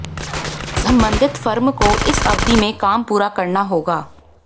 संबंधित फर्म को इस अवधि में काम पूरा करना होगा